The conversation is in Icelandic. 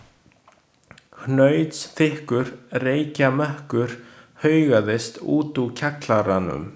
Hnausþykkur reykjarmökkur haugaðist út úr kjallaranum.